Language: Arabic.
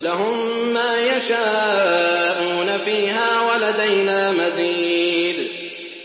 لَهُم مَّا يَشَاءُونَ فِيهَا وَلَدَيْنَا مَزِيدٌ